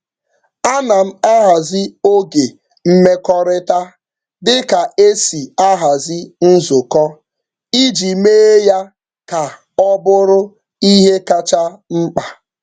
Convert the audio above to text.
Ana m ahazi oge mmekọrịta dị ka e si ahazi nzukọ iji mee ya ka ọ bụrụ ihe kacha mkpa.